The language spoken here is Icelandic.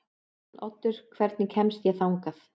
Arnoddur, hvernig kemst ég þangað?